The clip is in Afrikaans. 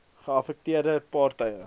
geaffekteerde par tye